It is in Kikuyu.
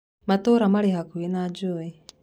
Matũra marĩ hakuhĩ na njũĩ.